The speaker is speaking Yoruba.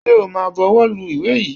Ṣẹ o ma buwọ́ lu ìwé yìí?